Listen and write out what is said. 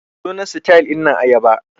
Sunan sitayil dinnan ayaba.